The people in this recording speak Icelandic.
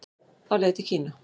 Á leið til Kína